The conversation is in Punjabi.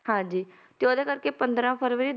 ਹਾਂਜੀ ਤੇ ਉਹਦੇ ਕਰਕੇ ਪੰਦਰਾਂ ਫਰਵਰੀ